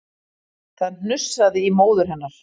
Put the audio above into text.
Það hnussaði í móður hennar